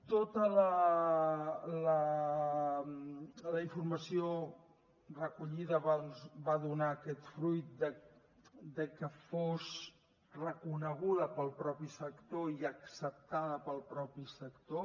tota la informació recollida doncs va donar aquest fruit que fos reconeguda pel mateix sector i acceptada pel mateix sector